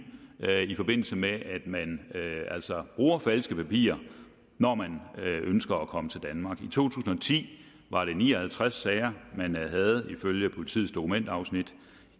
i forbindelse med at man altså bruger falske papirer når man ønsker at komme til danmark i to tusind og ti var det ni og halvtreds sager man havde ifølge politiets dokumentafsnit